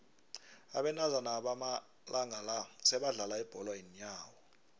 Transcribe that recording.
abentazana bamalanga la sebadlala ibholo yeenyawo